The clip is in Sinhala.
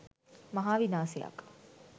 මහා විනාසයක්.